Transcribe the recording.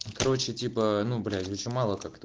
короче типа ну бля очень мало как-то